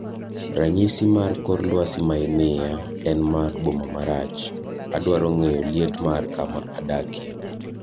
Ranyisi mar kor lwasi ma imiya en mar boma marach, adwaro ng'eyo liet mar kama adakie